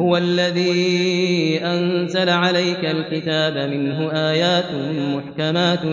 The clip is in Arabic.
هُوَ الَّذِي أَنزَلَ عَلَيْكَ الْكِتَابَ مِنْهُ آيَاتٌ مُّحْكَمَاتٌ